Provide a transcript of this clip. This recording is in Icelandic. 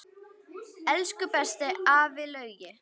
Elsku besti afi Laugi.